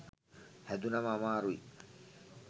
හැදුනම අමාරුයි